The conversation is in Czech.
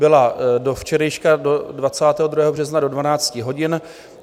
Byla do včerejška do 22. března do 12 hodin.